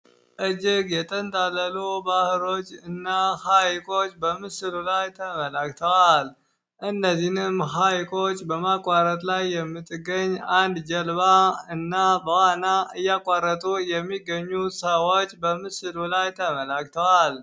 እጅግ የተንጣለሉ ባህሮች እና ሐይቆች በምስሉ ላይ ተመላክተዋል እነዚህንም ሐይቆች በማቋረት ላይ የምትገኝ አንድ ጀልባ እና በዋና እያቋረጡ የሚገኙት ሰዎች በምስሉ ላይ ተመላክተዋል።